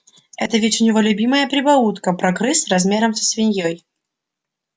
это ведь у него любимая прибаутка про крыс размером со свиней